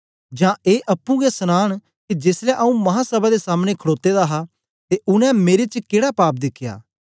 जां ए अप्पुं गै सनान के जेसलै आंऊँ महासभा दे सामने खड़ोते दा हा ते उनै मेरे च केड़ा पाप दिखया